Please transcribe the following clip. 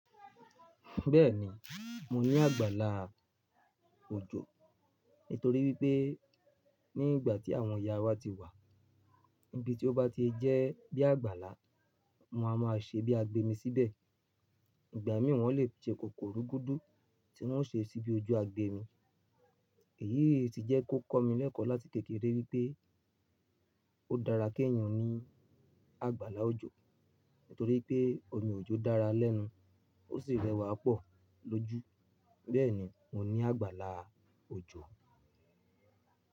Bẹ́ẹ̀ni, mo ní àgbàlá òjò nítorí wípé nígbà tí àwọn ìyá wa ti wà, níbi tí ó bá ti jẹ́ bí àgbàlá, wón á máa ṣe bí agbẹmi síbẹ̀. Ìgbà mìíràn wọ́n lè ṣe kòkòru gúdú tí wọ́n ó ṣe síbi ojú agbẹmi. Èyí sì jẹ́ kó kọ́ mi lẹ́kọ̀ọ́ láti tètè rí wípé ó dára kí èèyàn ní àgbàlá òjò nítorí pé omi òjò dára lẹ́nu ó sì rẹwà pọ̀ lójú. Bẹ́ẹ̀ni, mo ní àgbàlá òjò.